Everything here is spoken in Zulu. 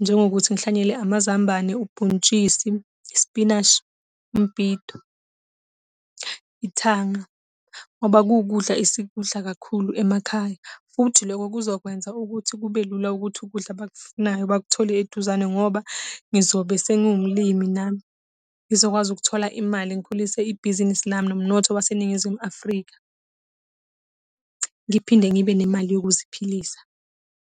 njengokuthi ngihlanyele amazambane, ubhontshisi, ispinashi, umbhido, ithanga. Ngoba kuwukudla esikudla kakhulu emakhaya, futhi lokho kuzokwenza ukuthi kube lula ukuthi ukudla abakufunayo bakuthole eduzane ngoba ngizobe sengiwumlimi nami. Ngizokwazi ukuthola imali ngikhulise ibhizinisi lami nomnotho waseNingizimu Afrika. Ngiphinde ngibe nemali yokuziphilisa.